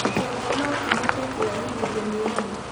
Kĩongo nokĩhote kũrehithĩrio nĩ homa